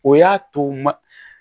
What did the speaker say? O y'a to ma